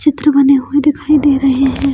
चित्र बने हुए दिखाई दे रहे है।